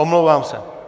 Omlouvám se.